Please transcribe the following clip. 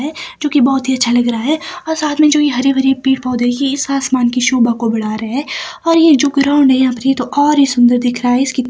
जो कि बहोत ही अच्छा लग रहा है और जो साथ में हरे भरे पेड़ पौधे हैं इस आसमान की शोभा को बढ़ा रहे हैं और ये जो ग्राउंड है यहाँ पर ये तो और ही सुंदर दिख रहा है इसकी --